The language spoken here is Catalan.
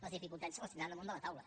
les dificultats les tindran damunt la taula